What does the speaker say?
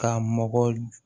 Ka mɔgɔ